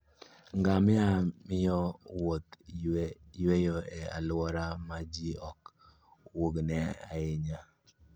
Ngamia miyo jowuoth yueyo e alwora ma ji ok wuogie ahinya.